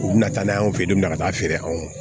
U bina taa n'a ye u be na ka taa feere anw ma